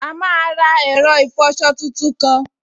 A máa ra ẹ̀rọ ìfọsọ tuntun kan